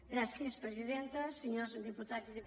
gràcies presidenta senyors diputats i diputades